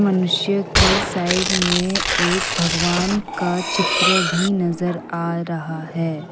मनुष्य के साइड में एक भगवान का चित्र भी नजर आ रहा है।